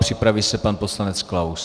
Připraví se pan poslanec Klaus.